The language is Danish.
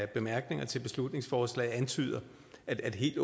bemærkningerne til beslutningsforslaget antyder at helt